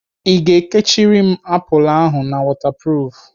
I ga-ekechiri m apụl ahụ na wọtapruf?